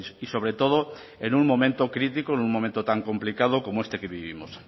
y sobre todo en un momento crítico en un momento tan complicado como este que vivimos